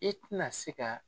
I ti na se ka